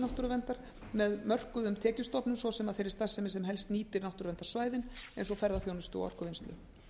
náttúruverndar með mörkuðum tekjustofnum svo sem af þeirri starfsemi sem helst nýtir náttúruverndarsvæðin eins og ferðaþjónustu og orkuvinnslu